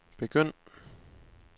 begynd